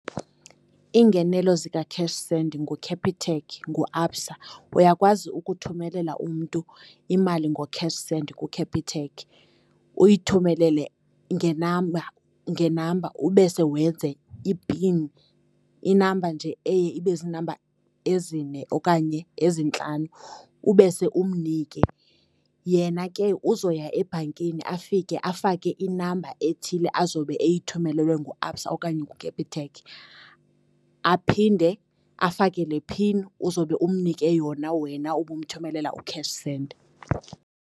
Iingenelo zika-CashSend nguCapitec, nguABSA. Uyakwazi ukuthumelela umntu imali ngoCashSend kuCapitec, uyithumelele ngenamba, ube sewenze ipin, inamba nje eye ibe ziinamba ezine okanye ezintlanu, ubese umnike. Yena ke uzoya ebhankini afike afake inamba ethile azawube eyithumelelwe nguABSA okanye nguCapitec, aphinde afake le pin uzowube umnike yona wena ubumthumelela uCashSend.